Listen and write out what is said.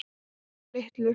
Og Kötu litlu.